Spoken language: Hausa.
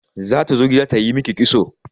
Zata zo gida ta yi miki kitso.